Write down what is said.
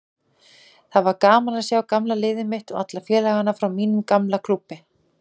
Það var gaman að sjá gamla liðið mitt og alla félagana frá mínum gamla klúbbi.